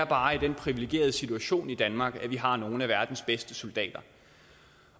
bare den privilegerede situation i danmark at vi har nogle af verdens bedste soldater